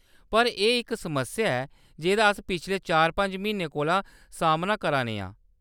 पर एह्‌‌ इक समस्या ऐ जेह्‌दा अस पिछले चार-पंज म्हीनें कोला सामना करा ने आं।